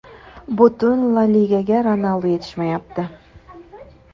Butun La Ligaga Ronaldu yetishmayapti.